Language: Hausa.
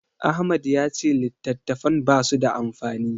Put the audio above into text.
Ahmad ya ce littattafan basu da amfani.